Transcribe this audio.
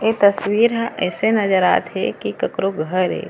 ए तस्वीर ह ऐसे नज़र आत हे की ककरो घर ए।